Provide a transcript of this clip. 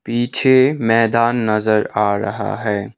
पीछे मैदान नजर आ रहा है।